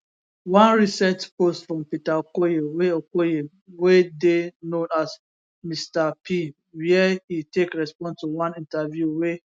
one recent post from peter okoye wey okoye wey dey known as mr p wia e take respond to one interview wey